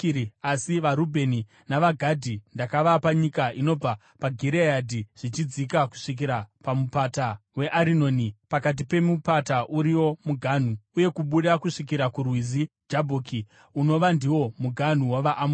Asi vaRubheni navaGadhi ndakavapa nyika inobva paGireadhi zvichidzika kusvikira paMupata weArinoni (pakati pemupata uriwo muganhu) uye kubuda kusvikira kuRwizi Jabhoki, unova ndiwo muganhu wavaAmoni.